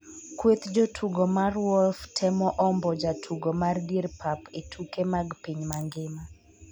kweth jotugo mar Wolf temo ombo jatugo mar dier pap e tuke mag piny mangima